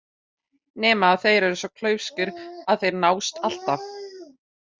Nema þeir eru svo klaufskir að þeir nást alltaf.